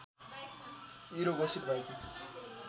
hero घोषित भएकी